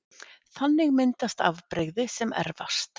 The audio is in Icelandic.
Þannig myndast afbrigði sem erfast